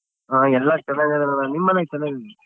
ಹಾ ಎಲ್ಲ ಚೆನಾಗಿದಾರಣ್ಣ ನಿಮ್ ಮನೇಲ್ ಚನಾಗ್?